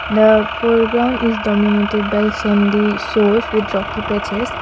the foreground is dominated by sandy source with rocky patches.